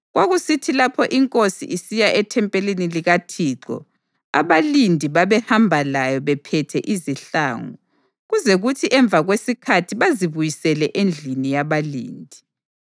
Kwakusithi lapho inkosi isiya ethempelini likaThixo, abalindi babehamba layo bephethe izihlangu, kuze kuthi emva kwesikhathi bazibuyisele endlini yabalindi.